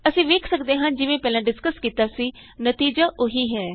ਅਸੀਂ ਵੇਖ ਸਕਦੇ ਹਾਂ ਜਿਵੇਂ ਪਹਿਲਾਂ ਡਿਸਕਸ ਕੀਤਾ ਸੀ ਨਤੀਜਾ ਉਹੀ ਹੈ